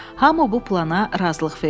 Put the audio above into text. Hamı bu plana razılıq verdi.